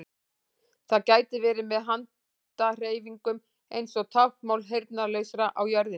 Það gæti verið með handahreyfingum eins og táknmáli heyrnarlausra á jörðinni.